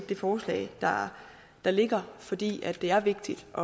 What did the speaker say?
det forslag der ligger fordi det er vigtigt at